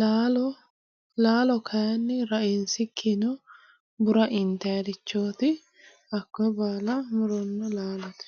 laalo laalo kayiinni rainsikkinnino bura intannirichooti hakkoye baala muronna laalote.